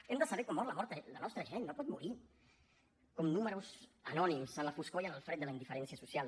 hem de saber com mor la nostra gent no pot morir com números anònims en la foscor i en el fred de la indiferència social